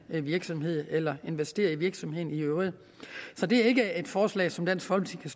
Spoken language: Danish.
en virksomhed eller investere i virksomheden i øvrigt så det er ikke et forslag som dansk folkeparti